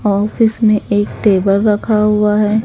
Office में एक table रखा हुआ है।